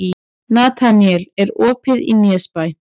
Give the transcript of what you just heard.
Nataníel, er opið í Nesbæ?